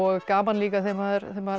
gaman líka þegar maður þegar maður